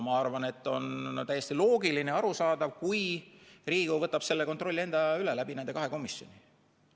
Ma arvan, et on täiesti loogiline ja arusaadav, kui Riigikogu võtab selle kontrolli endale üle nende kahe komisjoni kaudu.